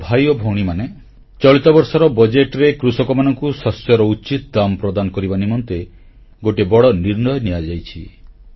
ମୋର ଭାଇ ଓ ଭଉଣୀମାନେ ଚଳିତ ବର୍ଷର ବଜେଟରେ କୃଷକମାନଙ୍କୁ ଶସ୍ୟର ଉଚିତ ମୂଲ୍ୟ ପ୍ରଦାନ କରିବା ନିମନ୍ତେ ଗୋଟିଏ ବଡ଼ ନିର୍ଣ୍ଣୟ ନିଆଯାଇଅଛି